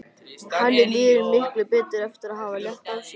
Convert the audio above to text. Henni líður miklu betur eftir að hafa létt á sér.